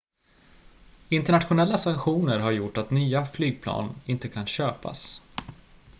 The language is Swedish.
internationella sanktioner har gjort att nya flygplan inte kan köpas